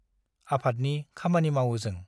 आफादनि खामानि मावओ जों ।